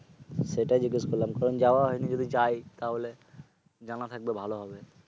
সেটা জিজ্ঞেস করলাম। কারণ যাওয়া হয়নি। যদি যাই তাহলে জানা থাকলে ভালো হবে।